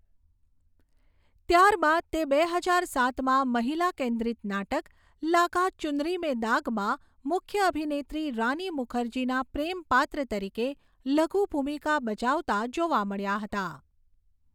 ત્યારબાદ તે બે હજાર સાતમાં મહિલા કેન્દ્રિત નાટક 'લાગા ચુનરી મેં દાગ'માં મુખ્ય અભિનેત્રી રાની મુખર્જીનીના પ્રેમ પાત્ર તરીકે લઘુ ભૂમિકા બજાવતા જોવા મળ્યા હતા.